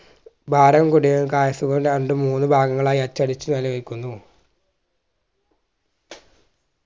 ഭാരം കൂടിയതും രണ്ട് മൂന്ന് ഭാഗങ്ങളായി അച്ചടിച് വെക്കുന്നു